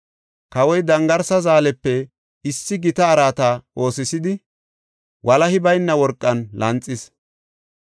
Kawoy dangarsa zaalepe issi gita araata oosisidi walahi bayna worqan lanxis.